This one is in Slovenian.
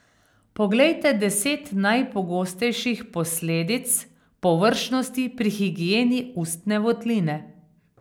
Poglejte deset najpogostejših posledic površnosti pri higieni ustne votline.